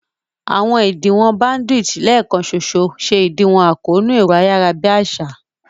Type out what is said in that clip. Àwọn ìdíwọ̀n bandwidth lẹ́ẹ̀kan ṣoṣo ṣe ìdíwọ̀n àkóónú ẹ̀rọ-ayárabíàsá